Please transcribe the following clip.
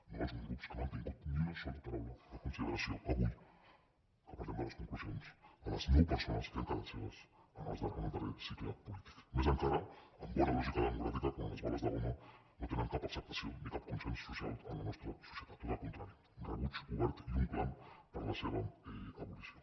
no alguns grups que no han tingut ni una sola paraula de consideració avui que parlem de les conclusions a les nou persones que han quedat cegues en el darrer cicle polític més encara amb bona lògica democràtica quan les bales de goma no tenen cap acceptació ni cap consens social en la nostra societat tot el contrari rebuig obert i un clam per a la seva abolició